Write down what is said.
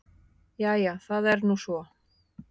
Jæja það er nú svo.